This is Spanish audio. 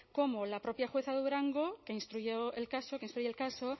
como la propia jueza de durango que instruyó el caso que instruye el caso